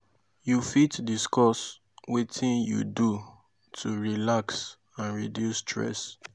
you fit discuss wetin you do to relax and reduce stress?